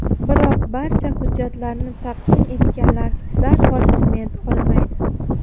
Biroq, barcha hujjatlarni taqdim etganlar darhol sement olmaydi.